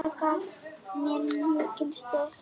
Það gaf mér mikinn styrk.